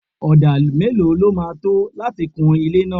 Odà mélòó lọ ma tó láti kun ilé náà?